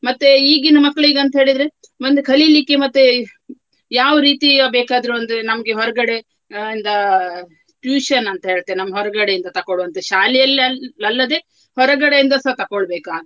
ಮತ್ತೆ ಈಗಿನ ಮಕ್ಳಿಗೆ ಅಂತೇಳಿದ್ರೆ ಮುಂದೆ ಕಲಿಲಿಕ್ಕೆ ಮತ್ತೆ ಯಾವ ರೀತಿಯ ಬೇಕಾದ್ರು ಒಂದು ನಮ್ಗೆ ಹೊರಗಡೆ ಅಹ್ ಇಂದ tuition ಅಂತ ಹೇಳ್ತೇನೆ ನಮ್ಮ್ ಹೊರಗಡೆಯಿಂದ ತಕೊಳ್ಳುವಂತದ್ದು ಶಾಲೆಯಲ್ಲಿ ಅಲ್~ ಅಲ್ಲದೆ ಹೊರಗಡೆಯಿಂದ ಸಹ ತಗೊಳ್ಬೇಕಾದ್ದು.